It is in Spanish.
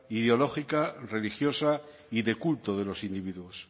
ideológica religiosa y de culto de los individuos